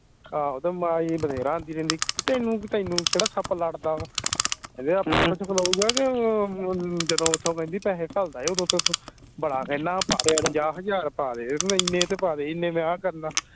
ਆਹੋ ਤੇ ਮਾਈ ਬਥੇਰਾ ਆਂਦੀ ਰਹਿੰਦੀ ਤੈਨੂੰ ਤੈਨੂੰ ਕਿਹੜਾ ਸੱਪ ਲੜਦਾ ਵਾ ਖਲੋਉਗਾ ਕੇ ਅਮ ਜਦੋਂ ਓਥੋਂ ਕਹਿੰਦੀ ਪੈਸੇ ਘੱਲਦਾ ਆ ਓਦੋਂ ਬੜਾ ਕਹਿਣਾ ਪਾ ਦੇ ਹਜਾਰ ਪਾ ਦੇ ਇੰਨੇ ਤਾਂ ਪਾ ਦੇ ਇੰਨੇ ਮੈਂ ਆ ਕਰਨਾ